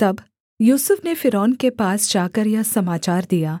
तब यूसुफ ने फ़िरौन के पास जाकर यह समाचार दिया